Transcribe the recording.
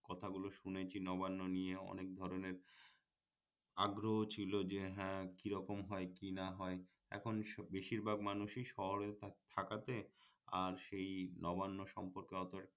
কথাগুলো শুনেছি নবান্ন নিয়েও অনেক ধরণের আগ্রহ ছিল যে হ্যাঁ কিরকম হয় কি না হয় এখন বেশির ভাগ মানুষই শহরে থাকাতে আর সেই নবান্ন সম্পর্কে অতটা